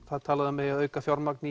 það er talað um að eigi að auka fjármagn